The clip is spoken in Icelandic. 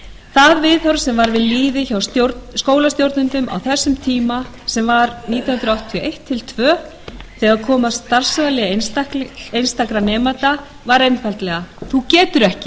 það viðhorf sem var við lýði hjá skólastjórnendum á þessum tíma sem var nítján hundruð áttatíu og eitt til áttatíu og tvö þegar kom að starfsvali einstakra nemenda var einfaldlega þú getur ekki